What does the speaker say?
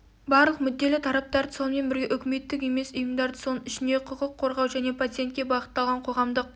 барлық мүдделі тараптарды сонымен бірге үкіметтік емес ұйымдарды соның ішінде құқық қорғау және пациентке бағытталған қоғамдық